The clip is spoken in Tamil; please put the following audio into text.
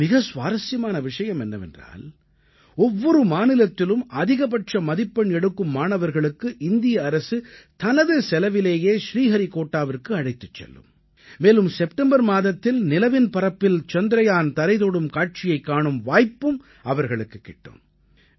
இதில் மிக சுவாரசியமான விஷயம் என்னவென்றால் ஒவ்வொரு மாநிலத்திலும் அதிகபட்ச மதிப்பெண் எடுக்கும் மாணவர்களுக்கு இந்திய அரசு தனது செலவிலேயே ஸ்ரீஹரிகோட்டாவிற்கு அழைத்துச் செல்லும் மேலும் செப்டம்பர் மாதத்தில் நிலவின் பரப்பில் சந்திரயான் தரை தொடும் காட்சியைக் காணும் வாய்ப்பும் அவர்களுக்குக் கிடைக்கும்